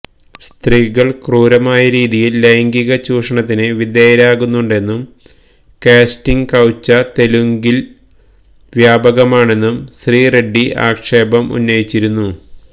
സ്ത്രീകള് ക്രൂരമായ രീതിയില് ലൈംഗിക ചൂഷണത്തിന് വിധേയരാകുന്നുണ്ടെന്നും കാസ്റ്റിംഗ് കൌച്ച തെലുഗില് വ്യാപകമാണെന്നും ശ്രീ റെഡ്ഡി ആക്ഷേപം ഉന്നയിച്ചിരുന്നു